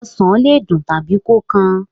Osàn le dùn tàbí kó kan.